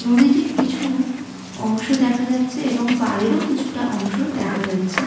নদীটির কিছু অংশ দেখা যাচ্ছে এবং পাড়েরও কিছুটা অংশ দেখা যাচ্ছে।